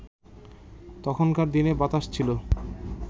তখনকার দিনে বাতাস ছিল